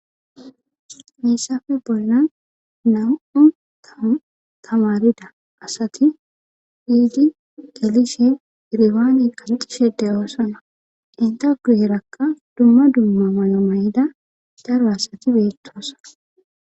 Meessafe bolnan namu tamarida asati hiidi gelishe iriwaaney qanxishe deyoosana intaguu yerakka dumma dumma mayo may7ida daro asati beettoasa.